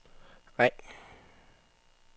ring